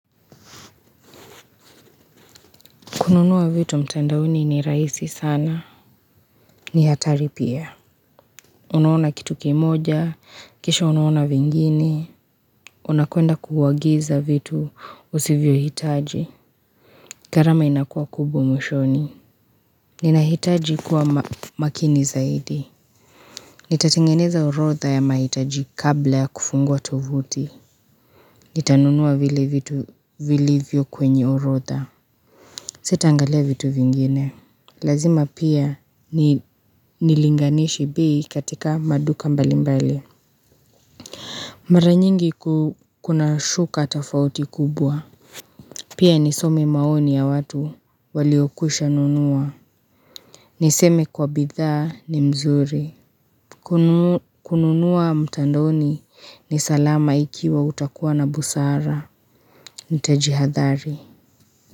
Kununua vitu mtandaoni ni rahisi sana. Ni hatari pia. Unaona kitu kimoja. Kisha unaona vingine. Unakwenda kuagiza vitu usivyo hitaji. Garama inakuwa kubwa mwishoni. Ninahitaji kuwa makini zaidi. Nitatengeneza orodha ya mahitaji kabla ya kufungua tovuti. Nitanunuwa vile vitu vilivyo kwenye urodha. Sita angalia vitu vingine. Lazima pia nilinganishe bei katika maduka mbali mbali Maranyingi kuna shuka tafauti kubwa Pia nisome maoni ya watu waliokwisha nunua Niseme kwa bidhaa ni mzuri kununua mtandoni ni salama ikiwa utakuwa na busara Nitajihadhari.